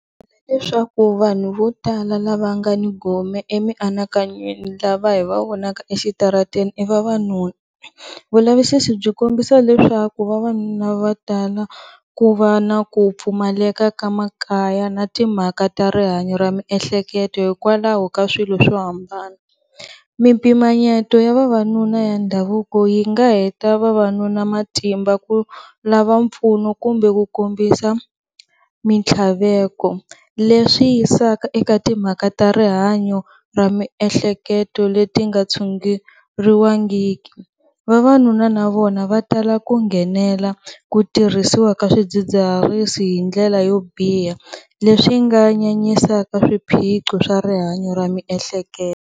Leswaku vanhu vo tala lava nga ni gome emianakanyweni lava hi va vonaka exitarateni i vavanuna, vulavisisi byi kombisa leswaku vavanuna va tala ku va na ku pfumaleka ka makaya na timhaka ta rihanyo ra miehleketo hikwalaho ka swilo swo hambana, mimpimanyeto ya vavanuna ya ndhavuko yi nga heta vavanuna matimba ku lava mpfuno kumbe ku kombisa, mitlhaveko leswi yisaka eka timhaka ta rihanyo ra miehleketo leti nga tshunguriwangiki, vavanuna na vona va tala ku nghenela ku tirhisiwa ka swidzidziharisi hindlela yo biha leswi nga nyanyisaka swiphiqo swa rihanyo ra miehleketo.